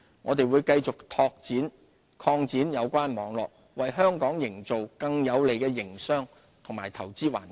我們會繼續擴展有關網絡，為香港營造更有利的營商及投資環境。